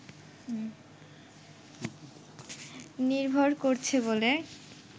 নির্ভর করছে বলে